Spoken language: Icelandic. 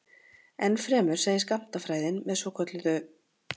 Ennfremur segir skammtafræðin með svokölluðu